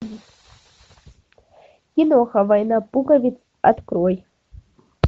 киноха война пуговиц открой